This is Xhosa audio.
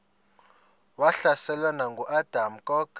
wahlaselwa nanguadam kok